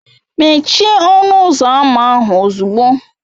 Mechie ọnụ ụzọ ámá ahụ ozugbo!